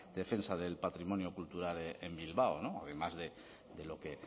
defensa del patrimonio cultural en bilbao no además de lo que